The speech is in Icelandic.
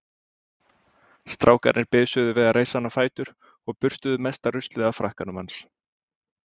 Strákarnir bisuðu við að reisa hann á fætur og burstuðu mesta ruslið af frakkanum hans.